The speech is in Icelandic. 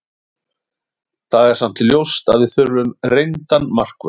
Það er samt ljóst að við þurfum reyndan markvörð.